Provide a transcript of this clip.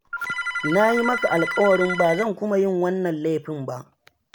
Na yi maka alƙawarin ba zan kuma yin wannan laifin ba.